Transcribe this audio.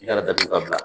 I kana datugu ka bila